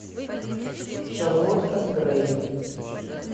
шарлотта грей